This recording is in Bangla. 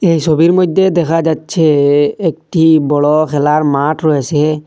এই ছবির মইধ্যে দেখা যাচ্ছে এ-একটি বড়ো খেলার মাঠ রয়েসে ।